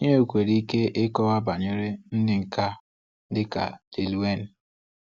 Ị nwekwara ike ịkọwa banyere ndị nka dịka Lil Wayne.